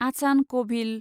आचान कभिल